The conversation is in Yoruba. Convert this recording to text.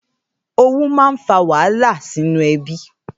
Ówù mà n fà wàhálá sinú èbí